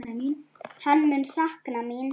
Hann mun sakna mín.